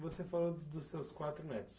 Você falou dos seus quatro netos.